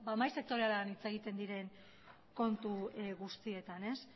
mahai sektorialean hitz egiten diren kontu guztietan